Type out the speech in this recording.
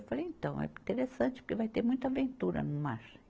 Eu falei, então, é interessante, porque vai ter muita aventura no mar.